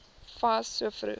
fas so vroeg